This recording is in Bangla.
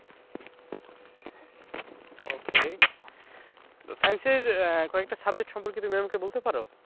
okay তো science এর আহ কয়েকটা subject সম্পর্কে তুমি আমাকে বলতে পারো?